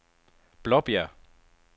Blåbjerg